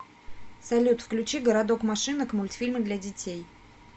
салют включи городок машинок мультфильмы для детей